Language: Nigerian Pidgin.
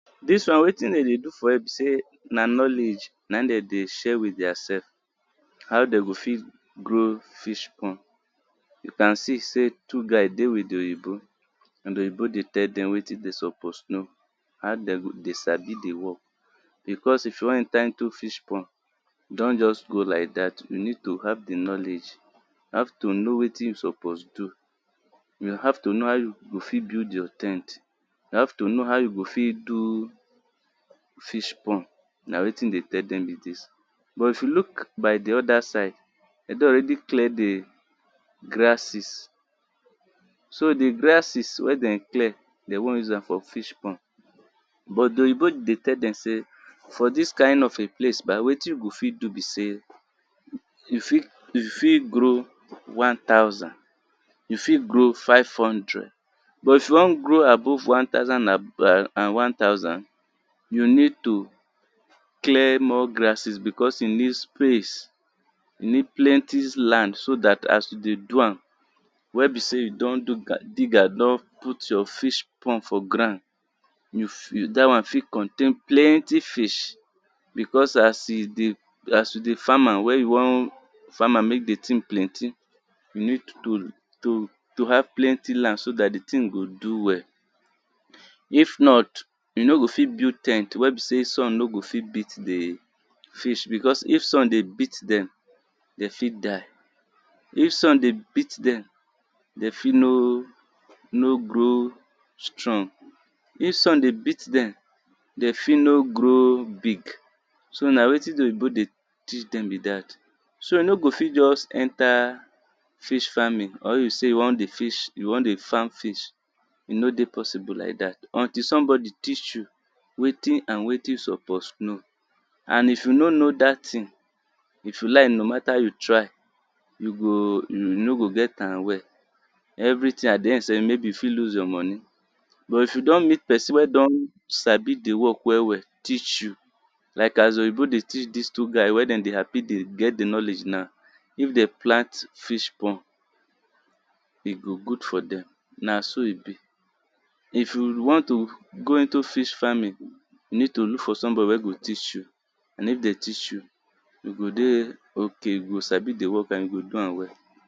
Dis one wetin dem dey do for here be sey na knowledge na im dem dey share with their sef how dem go fit grow fish pond. You can see sey two guy dey with di oyibo oyibo dey tell dem wetin dem suppose do how dem go sabi di work. Because if you wan enter into fish pond don’t just go like dat, you need to have di knowledge how to know wetin you suppose do. You have to know how you go fit build your ten t, you have to know how you go fit build fish pond na wetin e dey tell dem be dis. But if you look by di oda side dem don already clear di grasses so di grasses wey de clear, dem wan use am for fish pond but di oyibo dey tell dem sey for dis kind of a place bah wetin you go fit do be sey, you fit you fit grow one thousand, you fit grow five hundred but if you wan grow above one thousand and one thousand, you need to clear more grasses because you need space, you need plenty land so dat as you don do am, wen you don put your plenty fish pond for ground, dat one fit contain plenty fish, because as you dey farm am, wen you wan farm am make di th ing plenty, you need to to to h ave plenty land so dat di thing go do well if not you no go fit fit build ten t wey be sey sun no go of it beat di fish, because if sun dey beat dem dem fit die, if sun dey beat dem dem fit no no grow strong, if sun dey beat dem dem fit no grow big. So a wetin di oyibo dey teach dem be dat, so you no go fit just enter fish farming, or you sey you wan dey fish, you wan dey farm fish, e no dey possible like dat, until somebody teach you wetin and wetin you suppose know and if you no know dat thing, if you like no matter how you try you go, you no go get a well, everything maybe at di end you fit lose your money but if you don meet person wey sabi di work well well teach you, like as di oyibo dey teach dis two guy wen dem dey happy dey get di knowledge now, if dem plant fish pond e go good for dem, na so e be if you want to go into fish farming you need to look for somebody wen go teach you and if dem teach you, you go dey okay you go know di work and you go sabi am well.